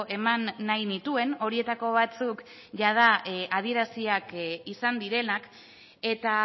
eman nahi nituen horietako batzuk jada adieraziak izan direnak eta